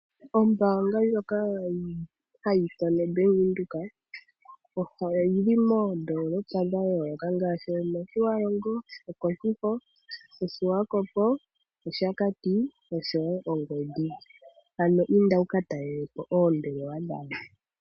Ombaanga ndyoka hayi ithanwa o Bank Windhoek, oyili moondolopa dhayooloka ngaashi, omotjiwarongo, okoshifo, omoshiwakopo, omoshakati, nomongwediva. Ano inda wuka talelepo oombelewa dhawo.